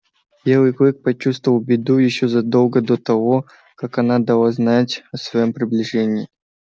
белый клык почувствовал беду ещё задолго до того как она дала знать о своём приближении